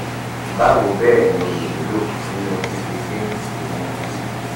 bawo bẹ́ẹ̀ ni o lè wúlò nínú fífi dín iwọn otutu kù